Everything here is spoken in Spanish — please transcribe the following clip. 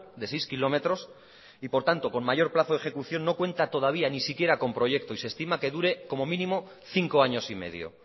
de seis kilómetros y por tanto con mayor plazo de ejecución no cuenta todavía ni siquiera con proyecto y se estima que dure como mínimo cinco años y medio